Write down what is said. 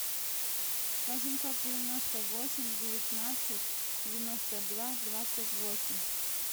восемьсот девяносто восемь девятнадцать девяносто два двадцать восемь